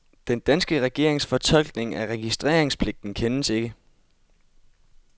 Den danske regerings fortolkning af registreringspligten kendes ikke.